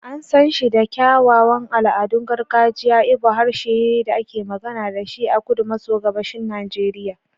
An san shi da kyawawan al'adun gargajiya, Igbo harshe ne da ake magana da shi a kudu maso gabashin Najeriya.